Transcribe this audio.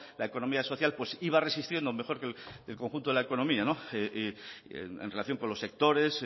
la economía social iba resistiendo mejor que el conjunto de la economía en relación con los sectores